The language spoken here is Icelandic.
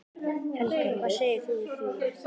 Helga: Hvað segir þú við því?